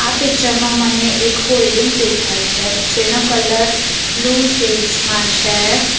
Picture માં મને એક હોલ્ડિંગ દેખાય છે જેનો કલર બ્લુ સેડસ માં છે.